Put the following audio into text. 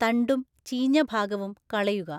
തണ്ടും ചീഞ്ഞഭാഗവും കളയുക.